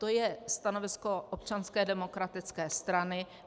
To je stanovisko Občanské demokratické strany.